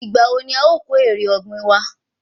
Ìgbà wo ni a o kó èrè ọ̀gbìn wa?